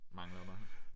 Mangler der